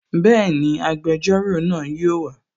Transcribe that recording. Bẹ́ẹ̀ni, agbẹjọ́rò náà yóò wa